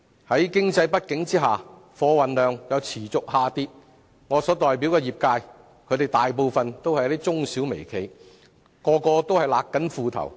在經濟不景下，貨運量又持續下跌，我所代表的業界大部分都是中小微企，大家也正勒緊褲帶。